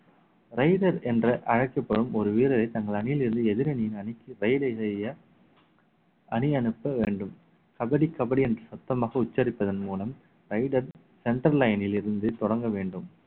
raider என்று அழைக்கப்படும் ஒரு வீரரை தங்கள் அணியில் இருந்து எதிரணியின் அணிக்கு செய்ய அணியனுப்ப வேண்டும் கபடி கபடி என்று சத்தமாக உச்சரிப்பதன் மூலம் raider centre line ல் இருந்து தொடங்க வேண்டும்